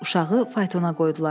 Uşağı faytona qoydular.